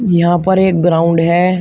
यहां पर एक ग्राउंड है।